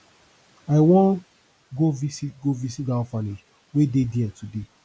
i wan go visit go visit dat orphanage wey dey there today